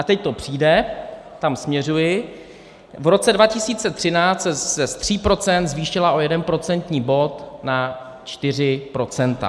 A teď to přijde, tam směřuji: v roce 2013 se z 3 procent zvýšila o jeden procentní bod, na 4 procenta.